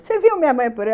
Você viu minha mãe por aí?